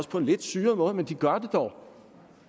på en lidt syret måde men de gør det dog